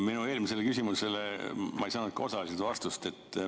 Minu eelmisele küsimusele ma ei saanud osaliselt vastust.